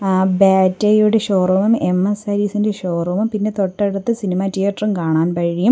ആ ബാറ്റയുടെ ഷോറൂമും എം_എസ് സാരീസ് ഇൻ്റെ ഷോറൂമും പിന്നെ തൊട്ടടുത്ത് സിനിമ തീയേറ്ററും കാണാൻ കഴിയും.